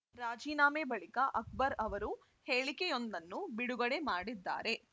ರಾಜೀನಾಮೆ ಬಳಿಕ ಅಕ್ಬರ್‌ ಅವರು ಹೇಳಿಕೆಯೊಂದನ್ನು ಬಿಡುಗಡೆ ಮಾಡಿದ್ದಾರೆ